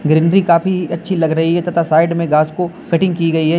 Greenery काफी अच्छी लग रही है तथा साइड में घास को कटिंग की गई है।